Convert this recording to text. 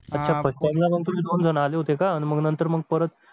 अच्छा first time ला तुम्ही दोन जण आले होते का आणि नंतर मग परत